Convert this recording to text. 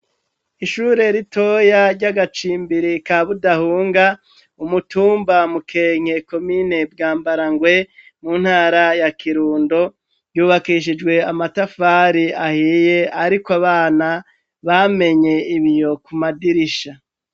ishure ritoya ryagacimbiri ka budahunga umutumba mukenke komine bwa mbarangwe muntara ya kirundo ryubakishijwe amatafari ahiye ariko abana bamenye ibiyo ku madirisha